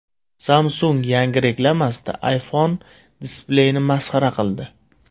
Samsung yangi reklamasida iPhone displeyini masxara qildi.